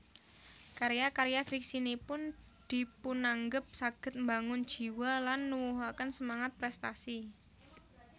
Karya karya fiksinipun dipunanggep saged mbangun jiwa lan nuwuhaken semangat prèstasi